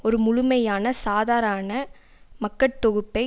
ஒரு முழுமையான சாதாரான மக்கட்தொகுப்பை